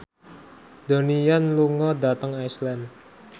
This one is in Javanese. Donnie Yan lunga dhateng Iceland